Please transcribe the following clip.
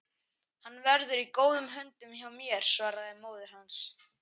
Hann verður í góðum höndum hjá mér svaraði móðir hans.